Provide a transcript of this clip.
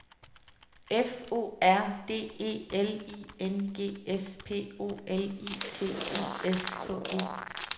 F O R D E L I N G S P O L I T I S K E